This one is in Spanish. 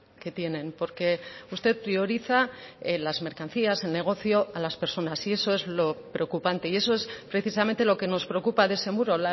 que tienen porque usted prioriza las mercancías el negocio a las personas y eso es lo preocupante y eso es precisamente lo que nos preocupa de ese muro